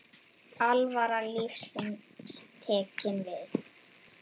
Alvara lífsins tekin við.